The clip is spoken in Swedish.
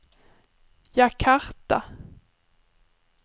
Jakarta